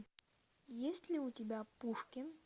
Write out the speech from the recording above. есть ли у тебя пушкин